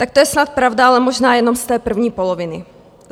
Tak to je snad pravda, ale možná jenom z té první poloviny.